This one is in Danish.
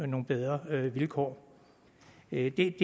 nogle bedre vilkår det er det